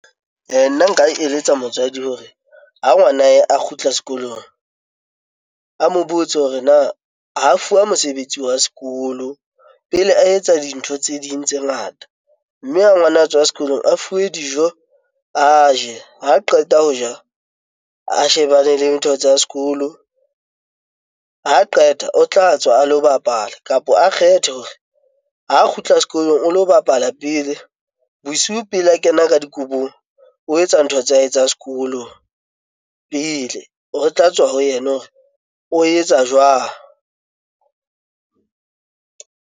Nna nka eletsa motswadi hore ha ngwana hae a kgutla sekolong, a mo botse hore na ha fuwa mosebetsi wa sekolo pele a etsa dintho tse ding tse ngata? Mme ha ngwana a tswa sekolong, a fuwe dijo, a je. Ha qeta ho ja, a shebane le ntho tsa sekolo. Ha qeta o tla tswa a lo bapala kapo a kgethe hore ha kgutla sekolong o lo bapala pele. Bosiu pele a kena ka dikobong, o etsa ntho tsa hae tsa sekolo pele. Ho tla tswa ho yena hore o etsa jwang?